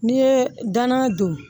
N'i ye danna don